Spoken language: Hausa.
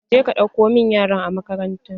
Je ka ɗauko min yaran a makaranta!